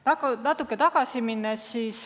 Lähen natuke ajas tagasi.